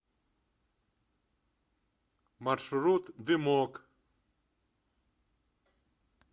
маршрут дымок